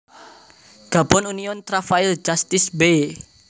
Gabon Union Travail Justice b